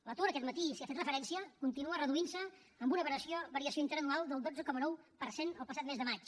l’atur aquest matí s’hi ha fet referència continua reduint se amb una variació interanual del dotze coma nou per cent el passat mes de maig